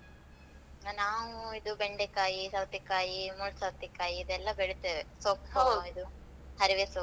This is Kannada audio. ನಾವು ಇದು ಬೆಂಡೆಕಾಯಿ, ಸೌತೆಕಾಯಿ, ಮುಳ್‍ಸೌತೆ ಕಾಯಿ ಇದೆಲ್ಲ ಬೆಳೀತೆವೆ. ಹರಿವೆ ಸೊಪ್ಪು.